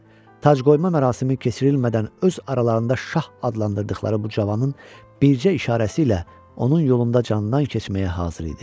Tacqoyma mərasimi keçirilmədən öz aralarında şah adlandırdıqları bu cavanın bircə işarəsi ilə onun yolunda candan keçməyə hazır idi.